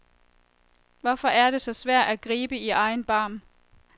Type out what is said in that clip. Hvorfor er det så svært at gribe i egen barm?